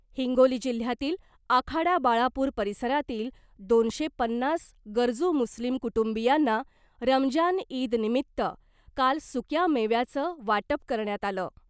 हिंगोली जिल्ह्यातील आखाडा बाळापूर परिसरातील दोनशे पन्नास गरजू मुस्लीम कुटुंबियांना रमजान ईदनिमित्त काल सुक्या मेव्याचं वाटप करण्यात आलं .